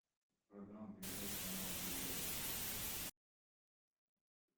программа передач канала бел рос